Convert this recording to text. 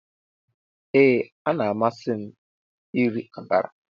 Ee a na-amasị m iri akara.